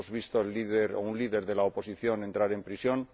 hemos visto a un líder de la oposición entrar en prisión